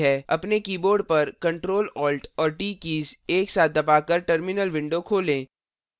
अपने कीबोर्ड पर ctrl alt और t कीज़ एक साथ दबाकर terminal window खोलें